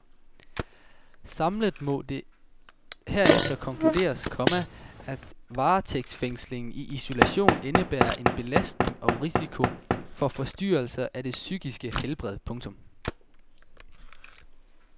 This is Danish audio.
Samlet må det herefter konkluderes, komma at varetægtsfængsling i isolation indebærer en belastning og risiko for forstyrrelse af det psykiske helbred. punktum